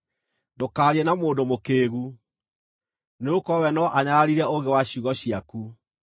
Ndũkaarie na mũndũ mũkĩĩgu, nĩgũkorwo we no anyararire ũũgĩ wa ciugo ciaku.